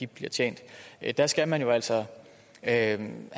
bliver tjent der skal man jo altså have